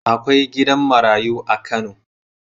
Akwai gidan marayu a Kano..